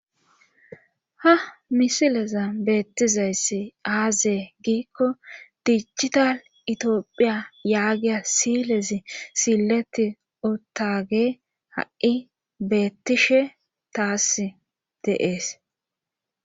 Ha misileza beettizayssi aazee giikko diichita itiophiya yaagiya silezi silleti otage ha7i beettishe taass deees.